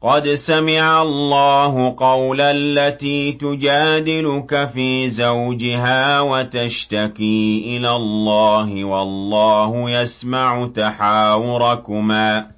قَدْ سَمِعَ اللَّهُ قَوْلَ الَّتِي تُجَادِلُكَ فِي زَوْجِهَا وَتَشْتَكِي إِلَى اللَّهِ وَاللَّهُ يَسْمَعُ تَحَاوُرَكُمَا ۚ